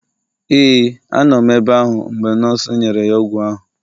Ee, a nọ m ebe ahụ mgbe nọọsụ nyere ya ọgwụ ahụ